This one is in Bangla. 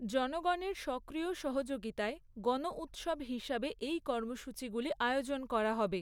জনগণের সক্রিয় সহযোগিতায় গণউৎসব হিসাবে এই কর্মসূচিগুলি আয়োজন করা হবে।